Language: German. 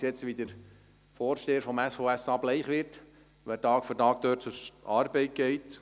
Ich sehe jetzt, wie der Vorsteher des SVSA bleich wird, weil er Tag für Tag dort zur Arbeit geht.